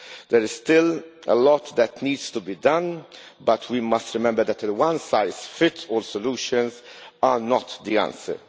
There is still a lot that needs to be done, but we must remember that one-size-fits-all solutions are not the answer.